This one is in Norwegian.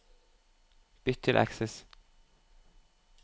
Bytt til Access